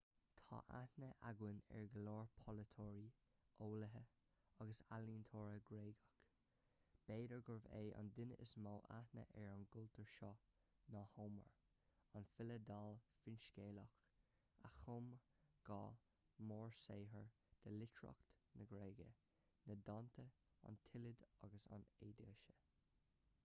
tá aithne againn ar go leor polaiteoirí eolaithe agus ealaíontóirí gréagacha b'fhéidir gurb é an duine is mó aithne ar an gcultúr seo ná homer an file dall finscéalach a chum dhá mhórshaothar de litríocht na gréige na dánta an tíliad agus an odaisé